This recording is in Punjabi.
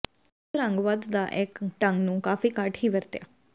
ਪ੍ਰਸਿੱਧ ਰੰਗ ਵਧ ਦਾ ਇਹ ਢੰਗ ਨੂੰ ਕਾਫ਼ੀ ਘੱਟ ਹੀ ਵਰਤਿਆ